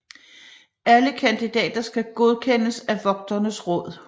Alle kandidater skal godkendes af Vogternes Råd